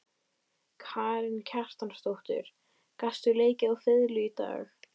Karen Kjartansdóttir: Gastu leikið á fiðlu í dag?